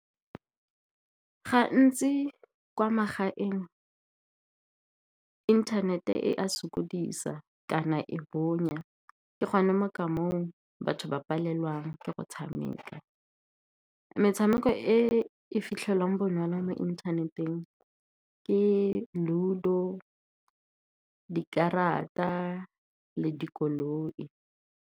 Gantsi kwa magaeng inthanete e a sokodisa kana e bonya, ke gone mo ka mong batho ba palelwa ke go tshameka. Metshameko e e fitlhelwang bonala mo inthaneteng ke Ludo, dikarata le dikoloi.